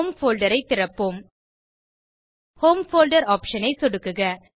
home folder ஐ திறப்போம் home folder option ஐ சொடுக்குக